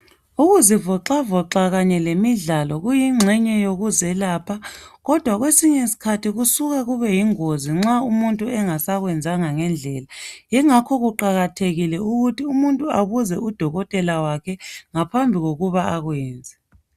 Ukuzivoxavoxa kanye lemidlalo kuyingxenye yokuzelapha kodwa kwesinye isikhathi kusuka kubeyingozi nxa umuntu engasakwenzanga ngendlela. Yingakho kuqakathekile ukuthi umuntu abuze udokotela wakhe ngaphambi kokuba akwenze.